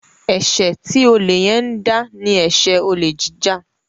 eṣe tí Ole yen ń dá ní eṣe Olè jíjà